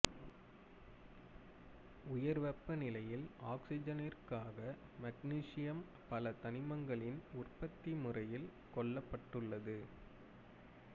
உயர் வெப்ப நிலையில் ஆக்சிஜனிறக்கியாக மக்னீசியம் பல தனிமங்களின் உற்பத்தி முறையில் கொள்ளப்பட்டுள்ளது